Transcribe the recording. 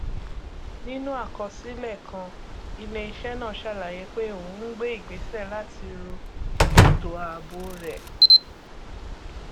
àwọn ìdílé johnson ṣe ìpinnu ọgbọn láti fi owó pàjáwìrì wọn pamọ sínú àpòowó eleleé gọbọi